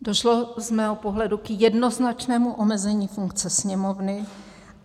Došlo z mého pohledu k jednoznačnému omezení funkce Sněmovny.